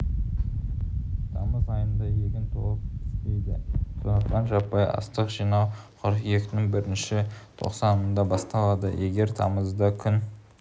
тамыз айында егін толық піспейді сондықтан жаппай астық жинау қыркүйектің бірінші тоқсанында басталады егер тамызда күн